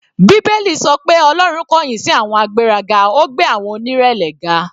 Bíbélì sọ pé Ọlọ́run kọ̀yìn sí àwọn agbéraga, ó gbé àwọn onírẹ̀lẹ̀ ga.